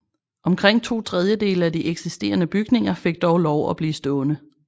Omkring to trediedele af de eksisterende bygninger fik dog lov at blive stående